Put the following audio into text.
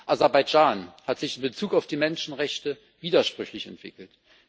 Aserbaidschan hat sich in Bezug auf die Menschenrechte widersprüchlich entwickelt.